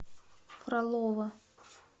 фролово